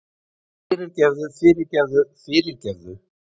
Fyrirgefðu fyrirgefðu fyrirgefðu!